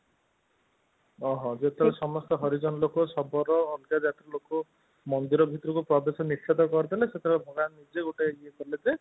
ଓଃ ହୋ ଯୋଉତିରେ ସମସ୍ତେ ହରିଜନ ଲୋକ ଶବର ଜାତିର ଲୋକ ମନ୍ଦିର ଭିତରକୁ ପ୍ରବେଶ ନିଷେଧ କରି ଦେଲେ ସେତେବେଳେ ଭଗବାନ ନିଜେ ଗୋଟେ ଇଏ କଲେ ଯେ